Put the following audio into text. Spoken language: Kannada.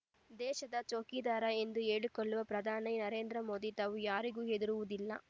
ದೇಶದ ಚೌಕಿದಾರ ಎಂದು ಹೇಳಿಕೊಳ್ಳುವ ಪ್ರಧಾನಿ ನರೇಂದ್ರ ಮೋದಿ ತಾವು ಯಾರಿಗೂ ಹೆದರುವುದಿಲ್ಲ